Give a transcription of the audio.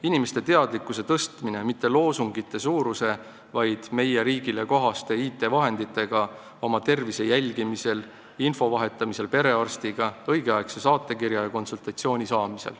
Inimeste teadlikkust tuleb tõsta mitte loosungite suuruse abil, vaid meie riigile kohaste IT-vahenditega, et nad oma tervist jälgiksid, vahetaksid infot perearstiga, saaksid õigel ajal saatekirja ja konsultatsiooni.